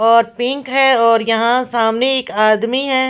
और पिंक है और यहां सामने एक आदमी है ।